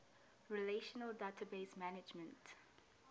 relational database management